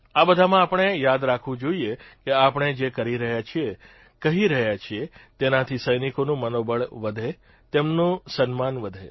આ બધામાં આપણે યાદ રાખવું જોઇએ કે આપણે જે કરી રહ્યા છીએ કહી રહ્યા છીએ તેનાથી સૈનિકોનું મનોબળ વધે તેમનું સન્માન વધે